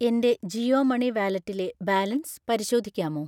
എൻ്റെ ജിയോ മണി വാലറ്റിലെ ബാലൻസ് പരിശോധിക്കാമോ?